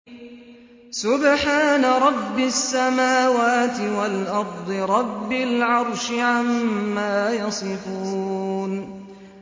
سُبْحَانَ رَبِّ السَّمَاوَاتِ وَالْأَرْضِ رَبِّ الْعَرْشِ عَمَّا يَصِفُونَ